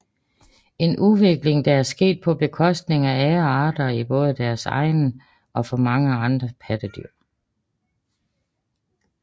En udvikling der er sket på bekostning af andre arter både i deres egen slægt og for mange andre pattedyr